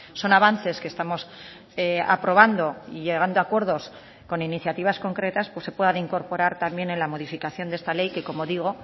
son avances que estamos aprobando y llegando a acuerdos con iniciativas concretas se puedan incorporar también en la modificación de esta ley que como digo